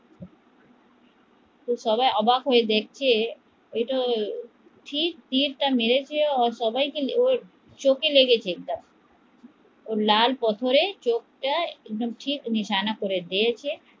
সবাই অবাক হয়ে দেখে ঠিক তীরটা মেরেছে, সবাই চোখে লেগেছে একদম লাল পাথরে চোখটা নিশানা করেছে